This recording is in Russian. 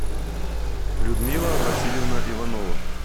людмила васильевна иванова